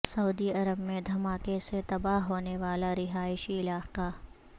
سعودی عرب میں دھماکے سے تباہ ہونے والا رہا ئشی علاقہ